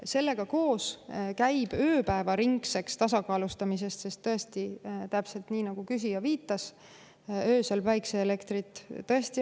Sellega koos käib ööpäevaringne tasakaalustamine, sest tõesti, täpselt nii, nagu küsija viitas, ei ole öösel võimalik päikeseelektrit toota.